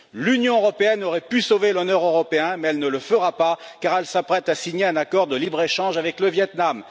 L'Union européenne aurait pu sauver l'honneur européen, mais elle ne le fera pas, car elle s'apprête à signer un accord de libre échange avec le Vietnam.